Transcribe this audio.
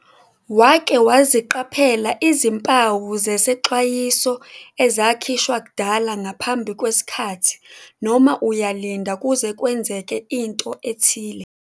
Wake waziqaphela izimpawu zesexwayiso ezakhishwa kudala ngaphambi kwesikhathi noma uyalinda kuze kwenzeke into ethile?